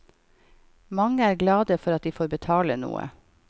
Mange er glade for at de får betale noe.